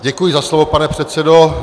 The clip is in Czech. Děkuji za slovo, pane předsedo.